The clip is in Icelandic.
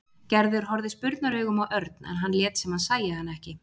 Gerður horfði spurnaraugum á Örn en hann lét sem hann sæi hana ekki.